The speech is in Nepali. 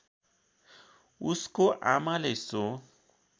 उसको आमाले सो